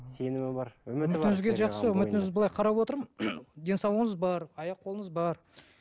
сенімі бар былай қарап отырмын денсаулығыңыз бар аяқ қолыңыз бар